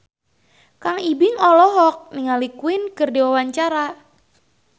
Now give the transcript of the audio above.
Kang Ibing olohok ningali Queen keur diwawancara